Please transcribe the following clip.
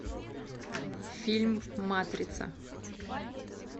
фильм матрица